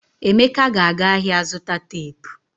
Emeka ga-aga ahịa zụta teepu.